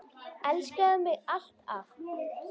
Elskaðu mig alt af.